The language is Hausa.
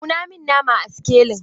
Auna min nama a sikelin!